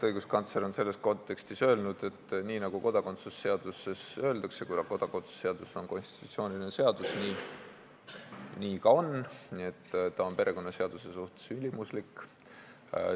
Õiguskantsler on selles kontekstis öelnud, et nii, nagu kodakondsuse seaduses öeldakse, nii ka on, kuna kodakondsuse seadus on konstitutsiooniline seadus ja seetõttu perekonnaseaduse suhtes ülimuslik.